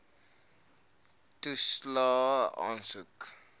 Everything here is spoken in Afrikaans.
toelaes aansoek